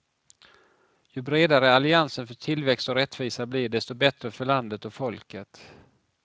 Ju bredare alliansen för tillväxt och rättvisa blir, desto bättre för landet och folket.